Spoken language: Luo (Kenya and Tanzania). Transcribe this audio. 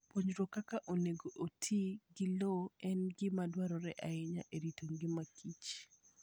Puonjruok kaka onego oti gi lowo en gima dwarore ahinya e rito ngima kich.